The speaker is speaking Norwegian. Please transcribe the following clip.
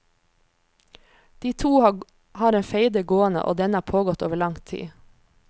De to har en feide gående, og denne har pågått over lang tid.